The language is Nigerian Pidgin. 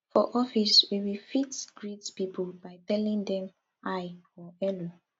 for office we we fit greet pipo by telling dem hi or hello